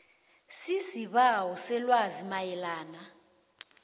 sisibawo selwazi mayelana